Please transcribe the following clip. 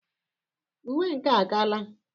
Uwe nkea a kaala?